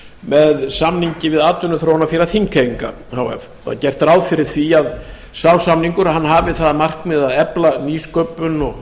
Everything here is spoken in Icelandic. með samningi við atvinnuþróunarfélag þingeyinga h f það er gert ráð fyrir því að sá samningur hafi það að markmiði að efla nýsköpun og